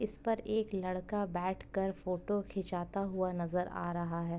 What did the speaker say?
इस पर एक लड़का बैठ कर फोटो खिचाता हुआ नजर आ रहा है।